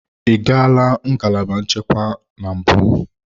Ị gala ngalaba nchekwa na mbụ?